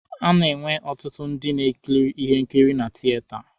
A na-enwe ọtụtụ ndị na-ekiri ihe nkiri na tieta.